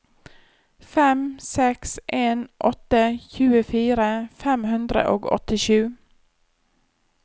fem seks en åtte tjuefire fem hundre og åttisju